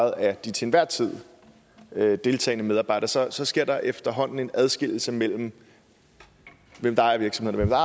af de til enhver tid deltagende medarbejdere så sker der efterhånden en adskillelse mellem dem der ejer virksomheden og